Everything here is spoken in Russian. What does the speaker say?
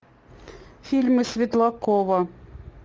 фильмы светлакова